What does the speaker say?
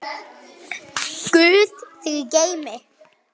Guð þig geymi.